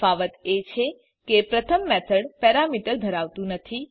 તફાવત એ છે કે પ્રથમ મેથડ પેરામીટર ધરાવતું નથી